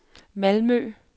Malmø